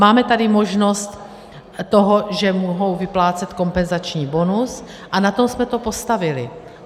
Máme tady možnost toho, že mohou vyplácet kompenzační bonus, a na tom jsme to postavili.